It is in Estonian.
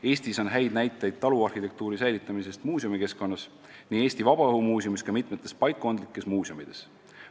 Eestis on häid näiteid taluarhitektuuri säilitamisest muuseumikeskkonnas nii Eesti Vabaõhumuuseumis kui ka mitmetes paikkondlikes muuseumides.